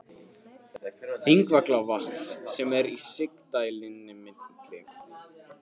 Þingvallavatns sem er í sigdældinni milli